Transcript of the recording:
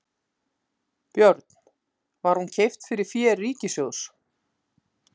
Björn: Var hún keypt fyrir fé ríkissjóðs?